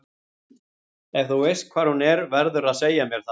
Ef þú veist hvar hún er verðurðu að segja mér það.